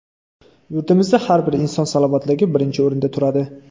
Yurtimizda har bir inson salomatligi birinchi o‘rinda turadi.